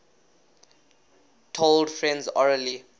told friends orally